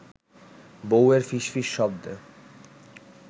বউয়ের ফিসফিস শব্দে